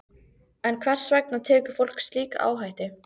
En hvers vegna tekur fólk slíka áhættu?